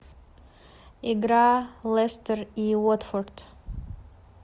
игра лестер и уотфорд